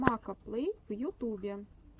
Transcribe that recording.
макоплэй в ютубе